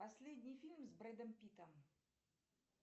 последний фильм с брэдом питтом